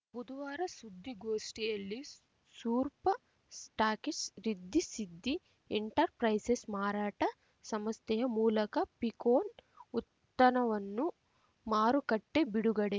ಬುದುವಾರ ಸುದ್ದಿಗೋಷ್ಠಿಯಲ್ಲಿ ಸೂರ್ಪ stockists Riddhi Siddhi enterprises ಮಾರಾಟ ಸಂಸ್ಥೆಯ ಮೂಲಕ ಪೀಕೊನ್‌ ಉತ್ತನವನ್ನು ಮಾರುಕಟ್ಟೆ ಬಿಡುಗಡೆ